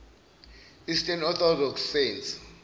eastern orthodox saints